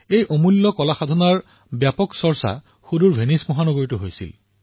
সেই অমূল্য শিল্পৰ ভেনিছত অতিশয় প্ৰশংসা হৈছিল